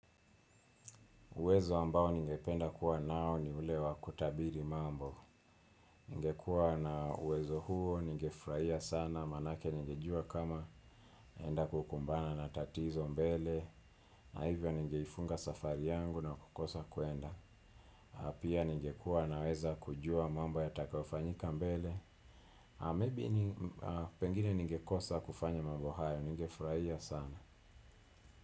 Uwezo ambao ningependa kuwa nao ni ule wa kutabiri mambo. Ningekua na uwezo huo, ningefurahia sana, manake ningejua kama naenda kukumbana na tatizo mbele. Na hivyo ningeifunga safari yangu na kukosa kuenda. Pia ningekua naweza kujua mambo yatakayofanyika mbele. Maybe pengine ningekosa kufanya mambo hayo, ningefurahia sana.